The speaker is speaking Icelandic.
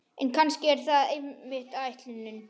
En kannski er það einmitt ætlunin.